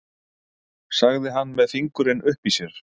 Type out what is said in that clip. sagði hann með fingurinn uppi í sér.